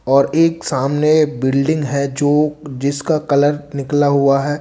और एक सामने बिल्डिंग है जो जिसका कलर निकला हुआ है।